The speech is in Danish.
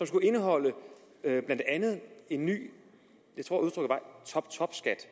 skulle indeholde en ny toptopskat